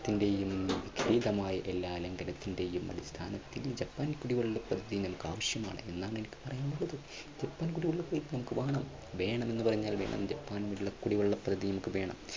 എല്ലാ ലംഘനത്തിന്റെയും അടിസ്ഥാനത്തിൽ ഈ ജപ്പാൻ കുടിവെള്ള പദ്ധതി നമുക്ക് ആവശ്യമാണ് എന്നാണ് എനിക്ക് പറയാനുള്ളത്. ജപ്പാൻ കുടിവെള്ള പദ്ധതി നമുക്ക് വേണം വേണമെന്ന് പറഞ്ഞാൽ വേണം ജപ്പാൻ കുടിവെള്ള പദ്ധതി നമുക്ക് വേണം,